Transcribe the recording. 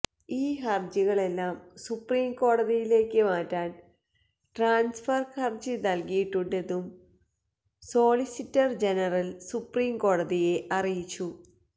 ഈ ഹർജികളെല്ലാം സുപ്രീം കോടതിയിലക്ക് മാറ്റാൻ ട്രാൻസ്ഫർ ഹർജി നൽകിയിട്ടുണ്ടെന്നും സോളിസിറ്റർ ജനറൽ സുപ്രീം കോടതിയെ അറിയിച്ചു